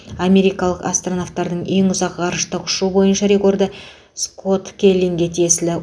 америкалық астронавтардың ең ұзақ ғарыштық ұшу бойынша рекорды скотт келлиге тиесілі